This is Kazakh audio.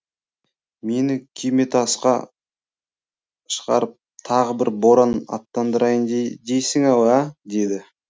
мені күйметасқа шығарып тағы бір боран аттандырайын дейсің ау ә деді